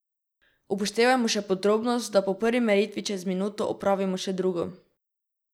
Upoštevajmo še podrobnost, da po prvi meritvi čez minuto opravimo še drugo.